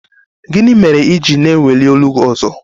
Gịnị mere i ji na-eweli olu gị ọzọ?